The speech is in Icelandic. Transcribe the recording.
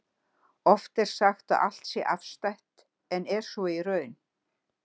Oft er sagt að allt sé afstætt, en er svo í raun?